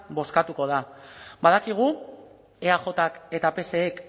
bozkatuko da badakigu eajk eta psek